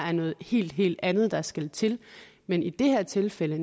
er noget helt helt andet der skal til men i det her tilfælde